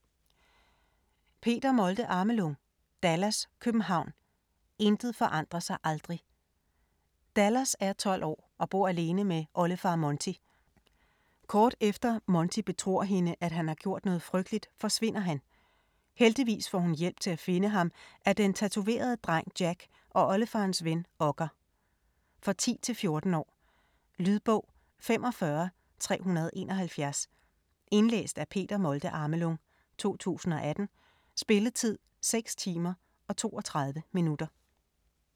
Molde-Amelung, Peter: Dallas København: intet forandrer sig aldrig Dallas er 12 år og bor alene med oldefar Monty. Kort efter Monty betror hende at han har gjort noget frygteligt, forsvinder han. Heldigvis får hun hjælp til at finde ham af den tatoverede dreng Jack og oldefarens ven Okker. For 10-14 år. Lydbog 45371 Indlæst af Peter Molde-Amelung, 2018. Spilletid: 6 timer, 32 minutter.